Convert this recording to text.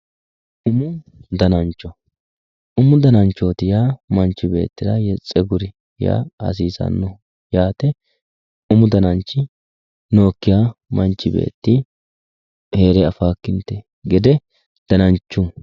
Umu dananchooti yaa manchi beettira tseguri yaa hasiissanno yaate umu dananchi nookkiha mannu heere afawookkinte gede danancho